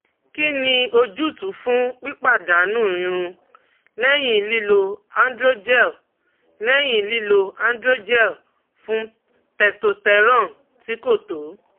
Kí ni ojútùú fún pípadànù irun lẹ́yìn lílo Androgel lẹ́yìn lílo Androgel fún testosterone tí kò tó?